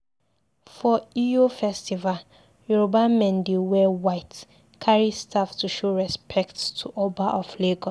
for Eyo festival, Yoruba men dey wear white, carry staff to show respect to Oba of Lagos.